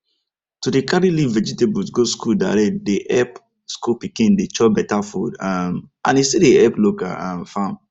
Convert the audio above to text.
to dey carry leaf vegetable go school direct dey epp school pikin dem chop beta food um and e still dey epp local um farm